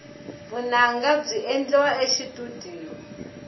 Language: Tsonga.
vunanga byi endliwa exitudiyo